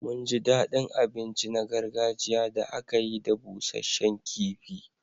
Mun ji daɗin abinci na gargajiya da aka yi da busasshen kifi.